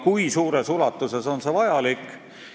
Kui suures ulatuses on see vajalik?